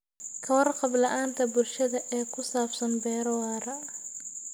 Ka warqab la'aanta bulshada ee ku saabsan beero waara.